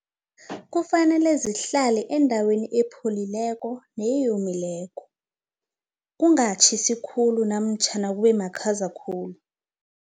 Kufanele zihlale endaweni ephelileko neyomileko, kungatjhisa khulu namtjhana kube makhaza khulu.